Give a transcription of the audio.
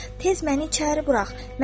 və tez məni içəri burax!